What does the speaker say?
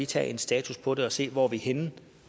tage en status på det og se hvor vi er henne